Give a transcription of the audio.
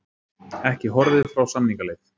Ekki horfið frá samningaleið